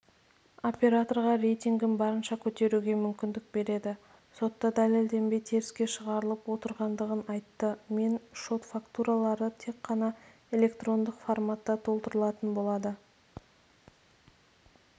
операторға рейтингін барынша көтеруге мүмкіндік береді сотта дәлелденбей теріске шығарылып отырғандығын айтты мен шот-фактуралары тек қана электрондық форматта толтырылатын болады